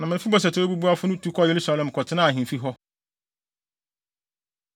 Na Mefiboset a ɔyɛ obubuafo no tu kɔɔ Yerusalem kɔtenaa ahemfi hɔ.